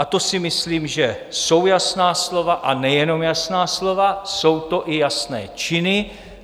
A to si myslím, že jsou jasná slova, a nejenom jasná slova, jsou to i jasné činy.